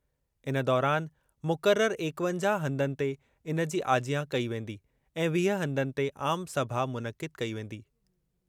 इन दौरान मुक़रर एकवंजाह हंधनि ते इन जी आजियां कई वेंदी ऐं वीह हंधनि ते आम सभा मुनक़िद कई वेंदी।